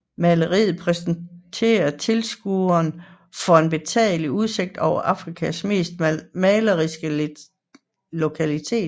Maleriet præsenterer tilskueren for en betagende udsigt over en af Amerikas mest maleriske lokaliteter